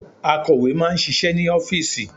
Akọ̀wé máà ń ṣiṣẹ́ ní ọ́fìsì.